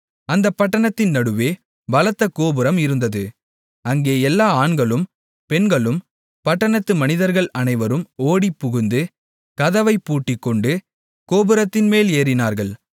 அந்தப் பட்டணத்தின் நடுவே பலத்த கோபுரம் இருந்தது அங்கே எல்லா ஆண்களும் பெண்களும் பட்டணத்து மனிதர்கள் அனைவரும் ஓடிப் புகுந்து கதவைப் பூட்டிக்கொண்டு கோபுரத்தின்மேல் ஏறினார்கள்